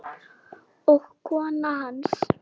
og kona hans.